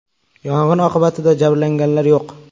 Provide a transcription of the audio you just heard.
Yong‘in oqibatida jabrlanganlar yo‘q.